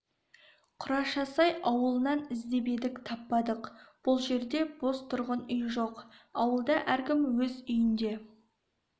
құрашасай ауылынан іздеп едік таппадық бұл жерде бос тұрған үй жоқ ауылда әркім өз үйінде